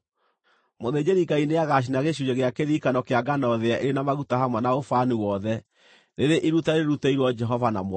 Mũthĩnjĩri-Ngai nĩagacina gĩcunjĩ gĩa kĩririkano kĩa ngano thĩye ĩrĩ na maguta hamwe na ũbani wothe, rĩrĩ iruta rĩrutĩirwo Jehova na mwaki.